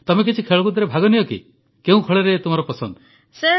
ତମେ କିଛି ଖେଳକୁଦରେ ଭାଗନିଅ କି କେଉଁ ଖେଳ ତୁମର ପସନ୍ଦ